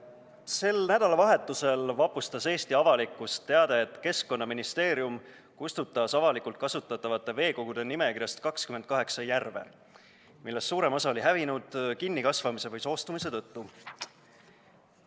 Sel nädalavahetusel vapustas Eesti avalikkust teade, et Keskkonnaministeerium kustutas avalikult kasutatavate veekogude nimekirjast 28 järve, millest suurem osa on hävinud kinnikasvamise või soostumise tõttu.